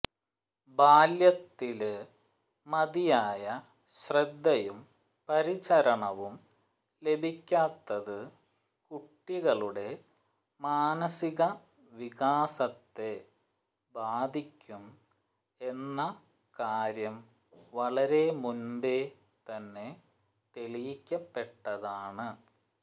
ബാല്യത്തില് മതിയായ ശ്രദ്ധയും പരിചരണവും ലഭിക്കാത്തത് കുട്ടികളുടെ മാനസിക വികാസത്തെ ബാധിക്കും എന്ന കാര്യം വളരെ മുന്പേ തന്നെ തെളിയിക്കപ്പെട്ടതാണ്